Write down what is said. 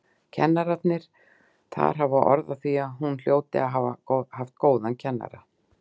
Kennararnir þar hafa orð á því að hún hljóti að hafa haft góðan kennara.